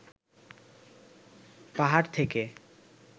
পাহাড় থেকে